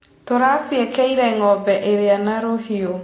Tũrabiekera ngombe ria na rũhiũ.